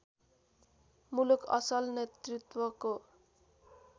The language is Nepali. मुलुक असल नेतृत्वको